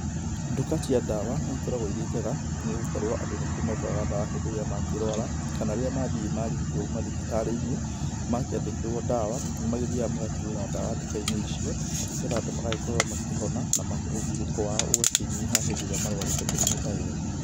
Nduka cia dawa nĩ ikoragwo irĩ njega nĩ gũkorwo andũ nĩkuo magũraga ndawa hĩndĩ ĩrĩa makĩrwara, kana rĩrĩa mathiĩ makĩrigitwo mathibitarĩ-inĩ, makĩandĩkĩrwo ndawa, nĩ magĩthiaga magakĩgũra ndawa nduka-inĩ icio, nĩgetha andũ magagĩkorwo makĩhona na ũgirĩko wao ũgakĩnyiha hĩndĩ ĩrĩa marwarĩte mĩrimũ ta ĩyo.